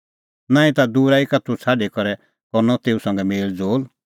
नांईं ता दूरा ई का दूत छ़ाडी करै करनअ तेऊ संघै मेल़ज़ोल़